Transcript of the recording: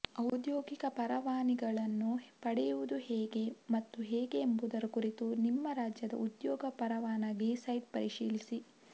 ಔದ್ಯೋಗಿಕ ಪರವಾನಗಿಗಳನ್ನು ಪಡೆಯುವುದು ಹೇಗೆ ಮತ್ತು ಹೇಗೆ ಎಂಬುದರ ಕುರಿತು ನಿಮ್ಮ ರಾಜ್ಯದ ಉದ್ಯೋಗ ಪರವಾನಗಿ ಸೈಟ್ ಪರಿಶೀಲಿಸಿ